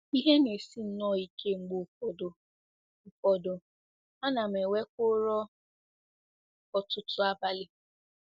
Ihe na-esi nnọọ ike mgbe ụfọdụ, ụfọdụ, ana m enwekwa ụra ọtụtụ abalị.